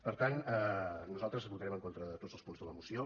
per tant nosaltres votarem en contra de tots els punts de la moció